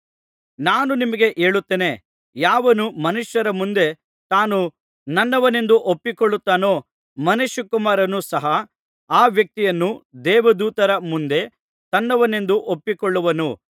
ನಾನು ನಿಮಗೆ ಹೇಳುತ್ತೇನೆ ಯಾವನು ಮನುಷ್ಯರ ಮುಂದೆ ತಾನು ನನ್ನವನೆಂದು ಒಪ್ಪಿಕೊಳ್ಳುತ್ತಾನೋ ಮನುಷ್ಯಕುಮಾರನು ಸಹ ಆ ವ್ಯಕ್ತಿಯನ್ನು ದೇವದೂತರ ಮುಂದೆ ತನ್ನವನೆಂದು ಒಪ್ಪಿಕೊಳ್ಳುವನು